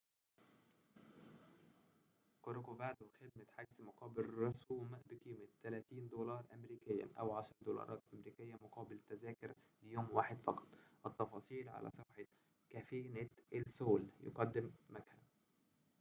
يقدم مقهى cafenet el sol خدمة حجز مقابل رسوم بقيمة 30 دولاراً أمريكياً أو 10 دولارات أمريكية مقابل تذاكر ليوم واحد فقط التفاصيل على صفحة corcovado